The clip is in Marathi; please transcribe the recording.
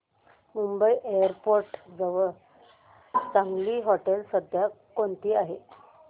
मुंबई एअरपोर्ट जवळ चांगली हॉटेलं सध्या कोणती आहेत